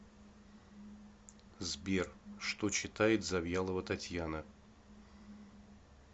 сбер что читает завьялова татьяна